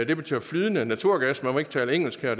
der betyder flydende naturgas man må ikke tale engelsk her